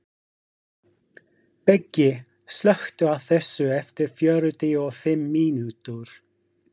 Beggi, slökktu á þessu eftir fjörutíu og fimm mínútur.